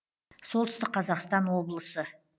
солтүстік қазақстан облысы